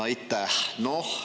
Aitäh!